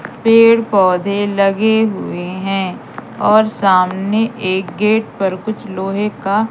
पेड़ पौधे लगे हुए हैं और सामने एक गेट पर कुछ लोहे का--